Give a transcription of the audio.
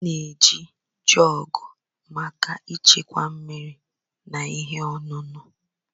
A na-eji Jọọgụ maka ịchekwa mmiri na ihe ọṅụṅụ.